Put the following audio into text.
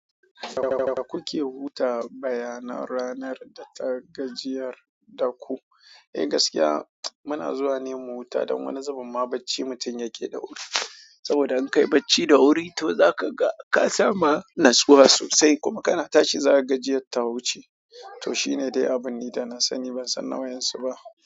Da kuke wuta bayanan ranar da ta gajiyar da ku. Eh gaskiya muna zuwa neman wuta dan wani zubin ma bacci mutum yake da wuri saboda in kai bacci da wuri to zaka ga ka samu natsuwa sosai kuma kana tashi zaka gajiyar ta wuce. Toh shine de abinda na sani.